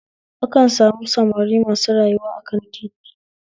Akan samu samari masu rayuwa akan titi a birni